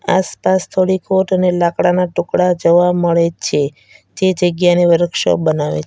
આસપાસ થોડી કોટ અને લાકડાના ટુકડા જોવા મળે છે જે જગ્યાને વરકશોપ બનાવે --